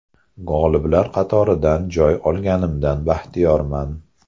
G‘oliblar qatoridan joy olganimdan baxtiyorman.